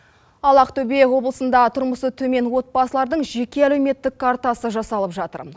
ал ақтөбе облысында тұрмысы төмен отбасылардың жеке әлеуметтік картасы жасалып жатыр